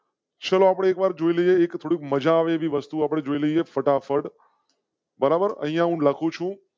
ચલો એક વાર આપડે જોઈએ. એક તો મજા આવે એવી વસ્તુ આપવી જોઈએ. ફટાફટ બરાબર અહિયાં હું લખું છું.